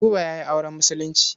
Buba ya yi auren Musulunci.